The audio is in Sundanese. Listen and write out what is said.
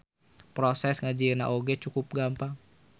Proses ngajieuna oge cukup gampang.